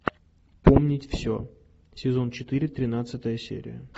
помнить все сезон четыре тринадцатая серия